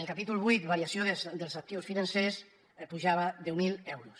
el capítol vuit variació dels actius financers pujava deu mil euros